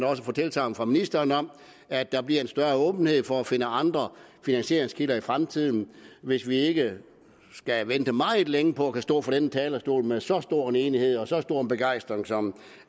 også få tilsagn fra ministeren om at der bliver en større åbenhed for at finde andre finansieringskilder i fremtiden hvis vi ikke skal vente meget længe på at kunne stå fra denne talerstol med så stor en enighed og så stor en begejstring som